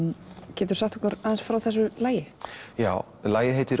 geturðu sagt okkur aðeins frá þessu lagi já lagið heitir